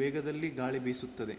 ವೇಗದಲ್ಲಿ ಗಾಳಿ ಬೀಸುತ್ತದೆ